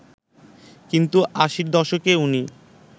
কিন্তু আশির দশকে উনি